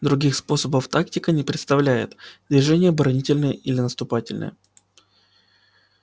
других способов тактика не представляет движение оборонительное или наступательное